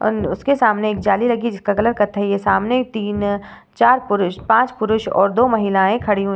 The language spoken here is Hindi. और उसके सामने एक जाली लगी हुवी है जिसका कलर कत्थई है। सामने तीन चार पुरुष पाँच पुरुष और दो महिलायें खड़ी हुवी --